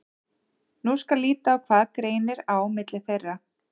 Nú skal líta á hvað greinir á milli þeirra.